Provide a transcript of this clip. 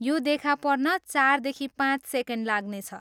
यो देखा पर्न चारदेखि पाँच सेकेन्ड लाग्नेछ।